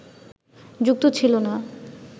যুক্ত ছিল না